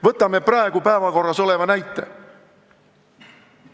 Võtame praegu päevakorras oleva näite.